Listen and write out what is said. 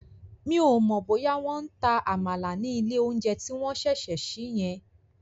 Mi ò mọ̀ bóyá wọ́n ń ta Àmàlà ní ilé oúnjẹ tí wọ́n ṣẹ̀ṣẹ̀ sí yẹn